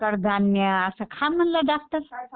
कडधान्य असं खा म्हणला डॉक्टर.